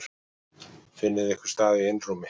Finnið ykkur stað í einrúmi.